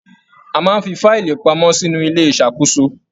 A máa n fí faílí pamọ́ sínú ilé ìṣàkóso.